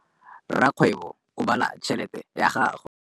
Rakgwêbô o bala tšheletê ya gagwe.